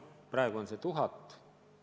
Praegu on see palk 1000 eurot.